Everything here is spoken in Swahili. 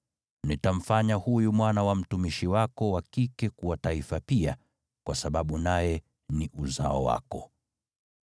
Nitamfanya huyu mwana wa mtumishi wako wa kike kuwa taifa pia, kwa sababu naye ni uzao wako.”